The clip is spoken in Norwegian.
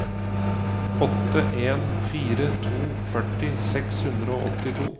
åtte en fire to førti seks hundre og åttito